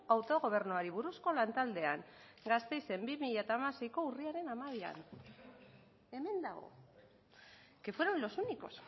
autogobernuari buruzko lantaldean gasteizen bi mila hamaseiko urriaren hamabian hemen dago que fueron los únicos